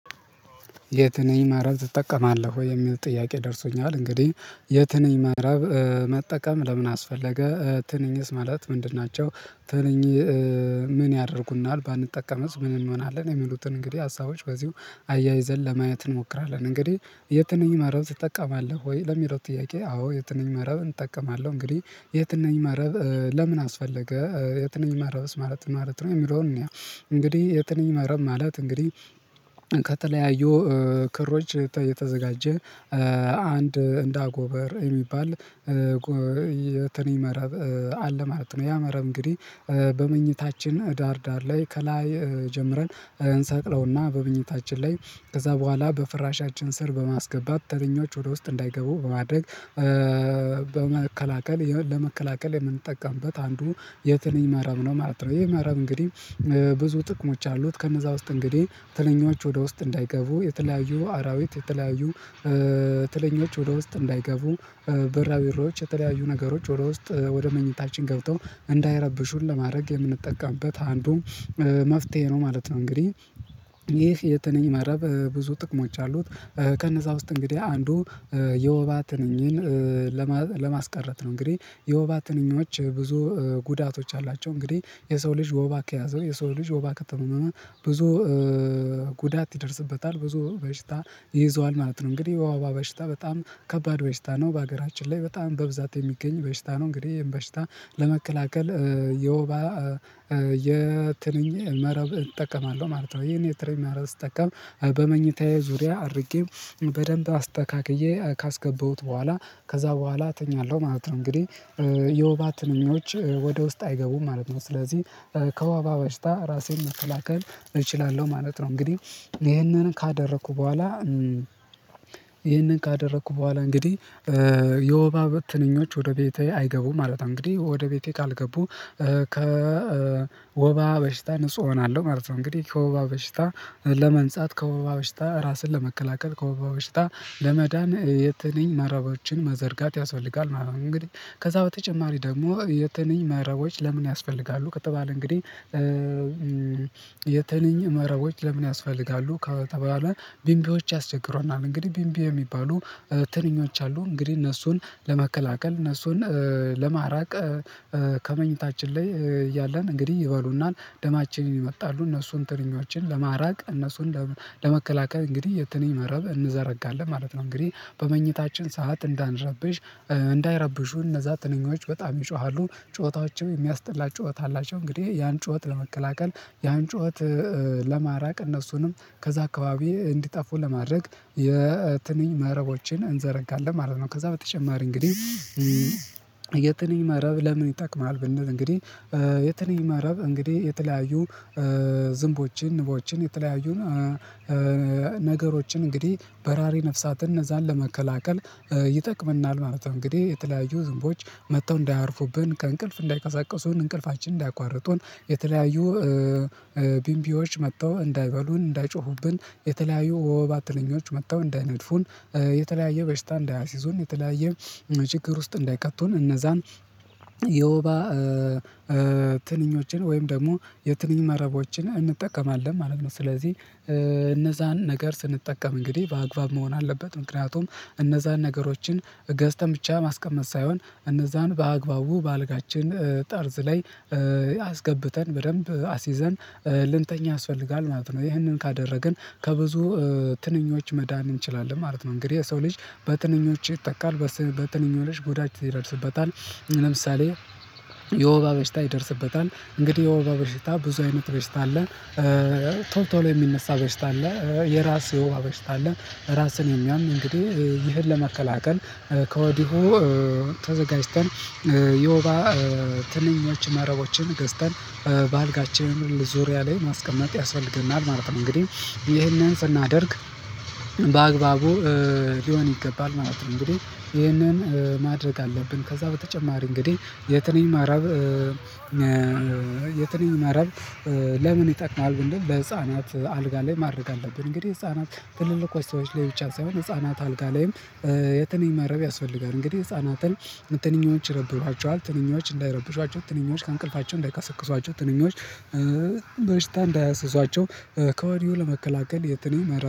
የትንኝ ማረብ ትጠቀማለህ ወይ? የሚል ጥያቄ ደርሶኛል እንግዲህ የትንኝ ማረብ መጠቀም ለምን አስፈለገ ትንኝስ ማለት ምንድን ናቸው? ትንኝ ምን ያደርጉናል ባንጠቀምስ ምን እንሆናለን? የሚሉትን እንግዲህ ሀሳቦች በዚሁ አያይዘን ለማየት እንሞክራለን እንግዲህ የትነኝ መረብ ትጠቀማለህ ወይ ለሚለው ጥያቄ አዎ የትንኝ መረብ እጠቀማለሁ። እንግዲህ የትንኝ መረብ ለምን አስፈለገ የትንኝ መረብ ማለትስ ምን ማለት ነው? የሚለውን እንግዲህ የትንኝ መረብ ማለት እንግዲህ ከተለያዩ ክሮች የተዘጋጀ አንድ እንዳ አጎበር የሚባል የትንኝ መረብ አለ ማለት ነው። ያ መረብ እንግዲህ በመኝታችን ዳር ዳር ላይ ከላይ ጀምረን እንሰቅለውና በመኝታችን ላይ ከዛ በኋላ በፍራሻችን ስር በማስገባት ትንኞች ወደ ውስጥ እንዳይገቡ በማድረግ በመከላከል ለመከላከል የምንጠቀምበት አንዱ የትንኝ መረብ ነው ማለት ነው። ይሄ መረብ እንግዲህ ብዙ ጥቅሞች አሉት ከነዛ ውስጥ እንግዲህ ትንኞች ወደ ውስጥ እንዳይገቡ የተለያዩ አራዊት የተለያዩ ትንኞች ወደ ውስጥ እንዳይገቡ ብራብሮዎች የተለያዩ ነገሮች ወደ ውስጥ ወደ መኝታችን ገብተው እንዳይረብሹን ለማድረግ የምንጠቀምበት አንዱ መፍትሄ ነው ማለት ነው። እንግዲህ ይህ የተንኝ መረብ ብዙ ጥቅሞች አሉት ከነዛ ውስጥ እንግዲህ አንዱ የወባ ትንኝን ለማስቀረት ነው። እንግዲህ የወባ ትንኞች ብዙ ጉዳቶች አላቸው እንግዲህ የሰው ልጅ ወባ ከያዘው የሰው ልጅ ወባ ከተመመ ብዙ ጉዳት ይደርስበታል ብዙ በሽታ ይይዘዋል ማለት ነው። እንግዲህ የወባ በሽታ በጣም ከባድ በሽታ ነው በሀገራችን ላይ በጣም በብዛት የሚገኝ በሽታ ነው። እንግዲህ በሽታ ለመከላከል የወባ የትንኝ መረብ እጠቀማለሁ ማለት ነው። ይሄን የትንኝ መረብ ስጠቀም በመኝታዬ ዙሪያ አድርጌም በደንብ አስተካክዬ ካስገባሁት በኋላ ከዛ በኋላ እተኛለሁ ማለት ነው እንግዲህ የውባ ትንኞች ወደ ውስጥ አይገቡም ማለት ነው። ስለዚህ ከዋባ በሽታ ራሴን መከላከል እችላለሁ ማለት ነው። እንግዲህ ይሄንን ካደረኩ በኋላ ይህንን ካደረኩ በኋላ እንግዲህ የወባ ትንኞች ወደ ቤቴ አይገቡም ማለት ነው። እንግዲህ ወደ ቤቴ ካልገቡ ከወባ በሽታ ንጹህ እሆናለሁ ማለት ነው እንግዲህ ከወባ በሽታ ለመንጻት ከወባ በሽታ ራስን ለመከላከል ከወባ በሽታ ለመዳን የትንኝ መረቦችን መዘርጋት ያስፈልጋል ማለት ነው። እንግዲህ ከዛ በተጨማሪ ደግሞ የትንኝ መረቦች ለምን ያስፈልጋሉ ከተባለ እንግዲህ የተንኝ መረቦች ለምን ያስፈልጋሉ? ከተባለ ቢምቢዎች ያስቸግሩናል እንግዲህ ቢምቢ የሚባሉ ትንኞች አሉ እንግዲህ እነሱን ለመከላከል እነሱን ለማራቅ ከመኝታችን ላይ ያለን እንግዲህ ይበሉናል ደማችንን ይመጣሉ እነሱን ትንኞችን ለማራቅ እነሱን ለመከላከል እንግዲህ የትንኝ መረብ እንዘረጋለን ማለት ነው። እንግዲህ በመኝታችን ሰዓት እንዳንረብሽ እንዳይረብሹ እነዛ ትንኞች በጣም ይጮሃሉ ጩኸታቸው የሚያስጠላ ጩኸት አላቸው እንግዲህ ያን ጩኸት ለመቀላቀል ያን ጩኸት ለማራቅ እነሱንም ከዛ አካባቢ እንዲጠፉ ለማድረግ የትንኝ መረቦችን እንዘረጋለን ማለት ነው። ከዛ በተጨማሪ እንግዲህ የትንኝ መረብ ለምን ይጠቅማል ብንል እንግዲህ የትንኝ ማረብ እንግዲህ የተለያዩ ዝንቦችን ንቦችን የተለያዩን ነገሮችን እንግዲህ በራሪ ነፍሳትን እነዛን ለመከላከል ይጠቅምናል ማለት ነው። እንግዲህ የተለያዩ ዝንቦች መጥተው እንዳያርፉብን ከእንቅልፍ እንዳይቀሳቀሱን እንቅልፋችንን እንዳያቋርጡን የተለያዩ ቢምቢዎች መጥተው እንዳይበሉን እንዳይጮሁብን የተለያዩ ወባ ትንኞች መጥተው እንዳይነድፉን የተለያየ በሽታ እንደያስዙን የተለያየ ችግር ውስጥ እንዳይከቱን እነዛን የወባ ትንኞችን ወይም ደግሞ የትንኝ መረቦችን እንጠቀማለን ማለት ነው። ስለዚህ እነዛን ነገር ስንጠቀም እንግዲህ በአግባብ መሆን አለበት ምክንያቱም እነዛን ነገሮችን ገዝተን ብቻ ማስቀመጥ ሳይሆን እነዛን በአግባቡ በአልጋችን ጠርዝ ላይ አስገብተን በደንብ አስይዘን ልንተኛ ያስፈልጋል ማለት ነው። ይህንን ካደረግን ከብዙ ትንኞች መዳን እንችላለን ማለት ነው። እንግዲህ የሰው ልጅ በትንኞች ይጠቃል በትንኞች ጎዳች ይደርስበታል ለምሳሌ የወበ በሽታ ይደርስበታል። እንግዲህ የወባ በሽታ ብዙ አይነት በሽታ አለ ቶሎ ቶሎ የሚነሳ በሽታ አለ የራስ የወባ በሽታ አለ። ራስን የሚያም እንግዲህ ይህን ለመከላከል ከወዲሁ ተዘጋጅተን የወባ ትንኞች ማረቦችን ገዝተን በአልጋችን ዙሪያ ላይ ማስቀመጥ ያስፈልገናል ማለት ነው። እንግዲህ ይሄንን ስናደርግ በአግባቡ ሊሆን ይገባል ማለት ነው። እንግዲህ ይህንን ማድረግ አለብን ከዛ በተጨማሪ እንግዲህ የትንኝ መራብ የትንኝ መራብ ለምን ይጠቅማል? ብንል ለህፃናት አልጋ ላይ ማድረግ አለብን እንግዲህ ህፃናት ትልልቆች ሰዎች ላይ ብቻ ሳይሆን ህፃናት አልጋ ላይም የትንኝ መረብ ያስፈልጋል። እንግዲህ ህፃናትን ትንኞች ይረብሿቸዋል ትንኞች እንዳይረብሿቸው ትንኞች ከእንቅልፋቸው እንዳይቀሰቅሷቸው ትንኞች በሽታ እንዳያስዞቸው ከወዲሁ ለመከላከል የትንኝ መረብ